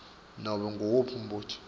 nobe nguwuphi umbuto